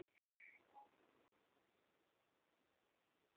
অ বৰঞ্চ উপ্কাৰ হে কৰে